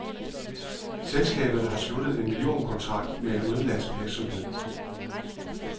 Selskabet har sluttet en millionkontrakt med en udenlandsk virksomhed.